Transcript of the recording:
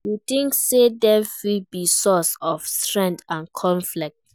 You think say dem fit be source of strength or conflict?